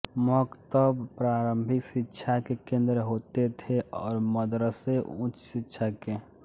मकतब प्रारंभिक शिक्षा के केंद्र होते थे और मदरसे उच्च शिक्षा के